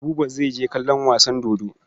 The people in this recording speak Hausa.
Buba zai je kallon wasan dodo.